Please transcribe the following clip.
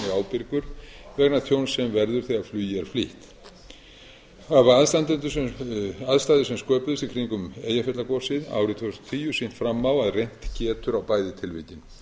ábyrgur vegna tjóns sem verður þegar flugi er flýtt hafa aðstæður sem sköpuðust í kringum eyjafjallagosið árið tvö þúsund og tíu sýnt fram á að reynt getur á bæði tilvikin